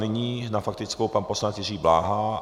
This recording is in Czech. Nyní na faktickou pan poslanec Jiří Bláha.